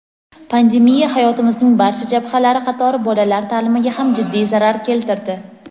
pandemiya hayotimizning barcha jabhalari qatori bolalar ta’limiga ham jiddiy zarar keltirdi.